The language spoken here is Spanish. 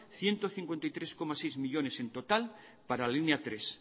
ciento cincuenta y tres coma seis millónes en total para la línea tres